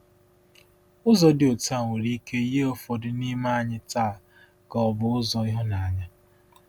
Ụzọ dị otu a nwere ike yie ụfọdụ n’ime anyị taa ka ọ bụ ụzọ ịhụnanya.